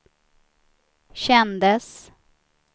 kändes